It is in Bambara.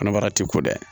Kɔnɔbara ti ko dɛ